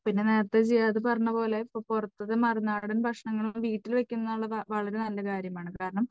പിന്നെ നേരത്തെ ജിയാദ് പറഞ്ഞതുപോലെ ഇപ്പോൾ പുറത്തത്തെ മറുനാടൻ ഭക്ഷണങ്ങൾ ഒക്കെ വീട്ടിൽ വയ്ക്കുന്നത് വളരെ നല്ല കാര്യം ആണ് കാരണം